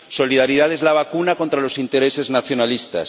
Solidaridad es la vacuna contra los intereses nacionalistas.